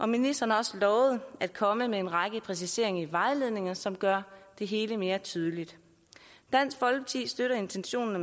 ministeren har også lovet at komme med en række præciseringer i vejledningen som gør det hele mere tydeligt dansk folkeparti støtter intentionerne